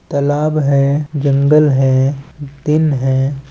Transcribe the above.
तालाब है जंगल है दिन है।